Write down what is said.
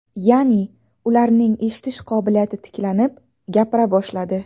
Ya’ni, ularning eshitish qobiliyati tiklanib, gapira boshladi.